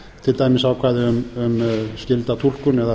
til dæmis ákvæði um skylda túlkun eða